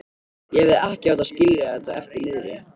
Ég hefði ekki átt að skilja þetta eftir niðri.